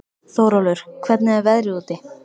Þórólfur, hvernig er veðrið úti?